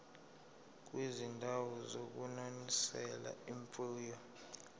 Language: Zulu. kwizindawo zokunonisela imfuyo